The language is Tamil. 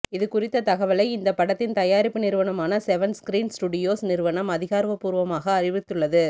இது குறித்த தகவலை இந்த படத்தின் தயாரிப்பு நிறுவனமான செவன்ஸ்கிரீன் ஸ்டூடியோஸ் நிறுவனம் அதிகாரபூர்வமாக அறிவித்துள்ளது